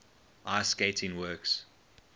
ice skating works